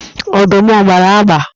Ọdụm a gbara agba?